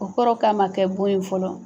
O kɔrɔ ye k'a ma kɛ bon ye fɔlɔ.